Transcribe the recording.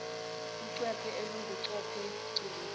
ucwephe olunguchopho cilo